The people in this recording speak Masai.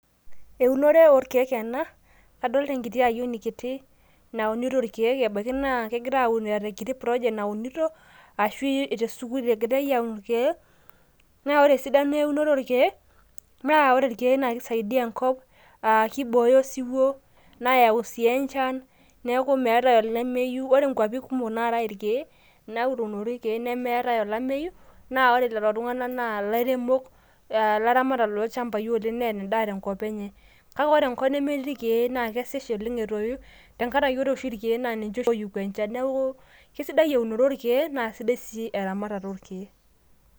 Eunore orkiek ena, adolita enkiti ayieni kiti naunito irkiek embaki na kegira aun eeta enkiti project naasita arashu tesukul egirai aun irkiek, na ore esidano eunoto orkiek naa ore irkiek na keisaidia enkop aah kiboyo osiwuo ,neyau sii enchan neaku meetae olemeyieu ,ore nkwapi kumok naatai irkiek naunitoi irkiek nemeetai olameyu na ore lolo tunganak na lairemok laramatak lolchambai oleng neetai endaa tenkop enye .Kake ore enkop nemetii irkiek naa kesuj ninye etoyu tenkaraki rkiek nannche oshi oyai enchan. Neaku kesidai eunoto orkiek na sidai sii eramatare ontokitin.